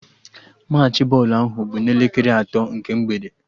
Machị bọọlụ ahụ bụ n'elekere atọ nke mgbede